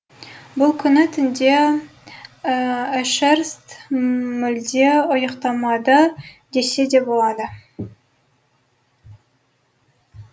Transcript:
бұл күні түнде эшерст мүлде ұйықтамады десе де болады